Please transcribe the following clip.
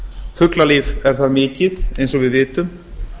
fuglalíf er þar mikið eins og við vitum